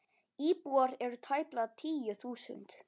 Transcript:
Íbúar eru tæplega tíu þúsund.